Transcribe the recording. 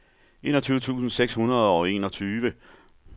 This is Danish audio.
enogtyve tusind seks hundrede og enogtyve